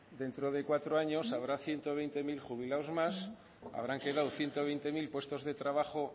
dentro de cuatro años habrán ciento veinte mil jubilados más habrán quedado ciento veinte mil puestos de trabajo